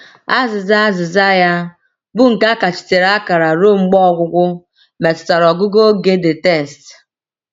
Azịza Azịza ya, bụ́ nke ‘ a kachitere akara ruo mgbe ọgwụgwụ, ’ metụtara ọgụgụ oge the text.